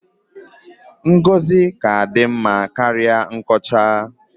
Ngọzi ka-adị mma karịa nkọcha.